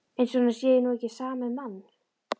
Eins og honum sé nú ekki sama um mann!